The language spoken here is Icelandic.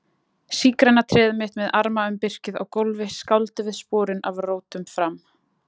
Sígræna tréð mitt með arma um birkið á gólfi skáldum við sporin af rótum fram